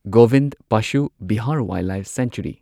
Govind Pashu Vihar wildlife century